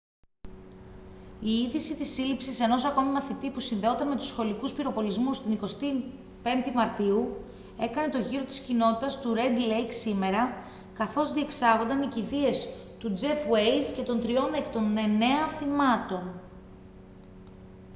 η είδηση της σύλληψης ενός ακόμη μαθητή που συνδεόταν με τους σχολικούς πυροβολισμούς της 21η μαρτίου έκανε τον γύρο της κοινότητας του ρεντ λέικ σήμερα καθώς διεξάγονταν οι κηδείες του τζεφ ουέιζ και των τριών εκ των εννέα θυμάτων